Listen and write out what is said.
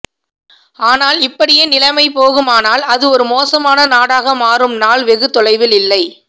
ஆனால் இப்படியே நிலைமை போகுமானால் அது ஒரு மோசமான நாடாக மாறும் நாள் வெகு தொலைவில் இல்லை